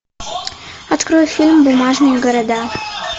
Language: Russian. открой фильм бумажные города